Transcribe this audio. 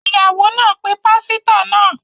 Iyawo naa pe pasito naa